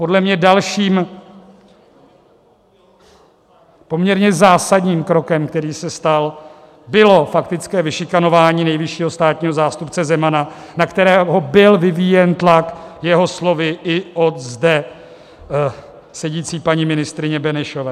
Podle mě dalším poměrně zásadním krokem, který se stal, bylo faktické vyšikanování nejvyššího státního zástupce Zemana, na kterého byl vyvíjen tlak jeho slovy i od zde sedící paní ministryně Benešové.